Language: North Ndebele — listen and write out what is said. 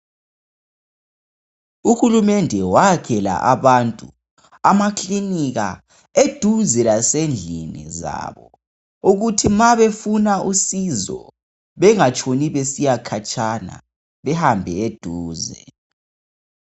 Uhulumede wayakhela abantu amakilinika eduze lasendlini zabo ukuthi ma befuna usizo Bengatshoni besiya khatsha bahambe eduze